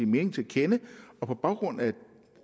mening til kende og på baggrund af